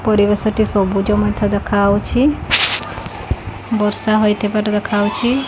ପରିବେଶ ଟି ସବୁଜ ମଧ୍ୟ ଦେଖାଯାଉଛି ବର୍ଷା ହୋଇଥିବାର ଦେଖାଯାଉଚି ।